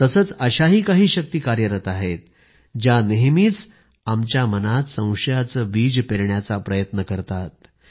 तसेच अशाही काही शक्ती कार्यरत आहेत ज्या नेहमीच आमच्या मनात संशयाचे बीज पेरण्याचा प्रयत्न करत आहेत